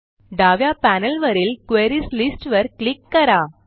डाव्या पॅनेलवरील queries list वर क्लिक करा